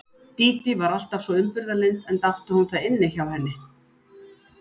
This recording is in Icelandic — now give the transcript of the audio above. Dídí var alltaf svo umburðarlynd enda átti hún það inni hjá henni.